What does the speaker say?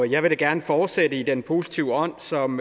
jeg vil da gerne fortsætte i den positive ånd som